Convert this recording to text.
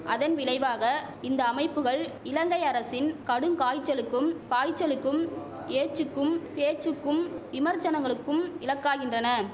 அதன் விளைவாக இந்த அமைப்புகள் இலங்கை அரசின் கடுங்காய்ச்சலுக்கும் பாய்ச்சலுக்கும் ஏச்சுக்கும் பேச்சுக்கும் விமர்ச்சனங்களுக்கும் இலக்காகின்றன